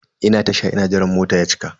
Ina Tasha ina jiran mota ya cika.